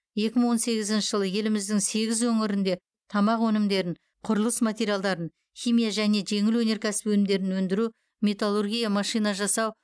екі мың он сегізінші жылы еліміздің сегіз өңірінде тамақ өнімдерін құрылыс материалдарын химия және жеңіл өнеркәсіп өнімдерін өндіру металлургия машина жасау